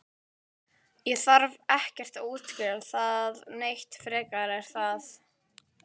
Ég þarf ekkert að útskýra það neitt frekar er það?